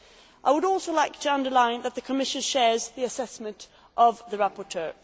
I would also like to underline that the Commission shares the assessment of the rapporteur.